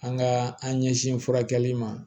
An ka an ɲɛsin furakɛli ma